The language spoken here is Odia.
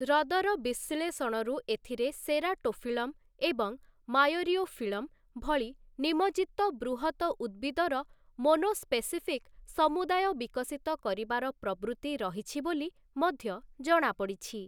ହ୍ରଦର ବିଶ୍ଳେଷଣରୁ ଏଥିରେ ସେରାଟୋଫିଲ୍ଲମ ଏବଂ ମାୟରିଓଫିଲ୍ଲମ ଭଳି ନିମଜ୍ଜିତ ବୃହତ ଉଦ୍ଭିଦର ମୋନୋସ୍ପେସିଫିକ୍ ସମୁଦାୟ ବିକଶିତ କରିବାର ପ୍ରବୃତି ରହିଛି ବୋଲି ମଧ୍ୟ ଜଣାପଡ଼ିଛି ।